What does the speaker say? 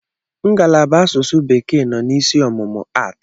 Ngalaba asụsụ bekee nọ n'isi ọmụmụ aatị.